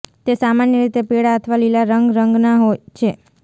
તે સામાન્ય રીતે પીળા અથવા લીલા રંગ રંગના છે